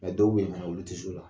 Mɛ dɔw bɛ yen fana olu tɛ se o la!